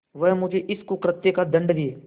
वह मुझे इस कुकृत्य का दंड दे